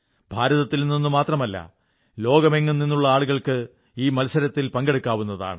ഭാരതത്തിൽ നിന്നുമാത്രമല്ല ലോകമെങ്ങും നിന്നുള്ള ആളുകൾക്ക് ഈ മത്സരത്തിൽ പങ്കെടുക്കാവുന്നതാണ്